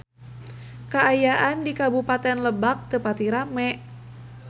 Kaayaan di Kabupaten Lebak teu pati rame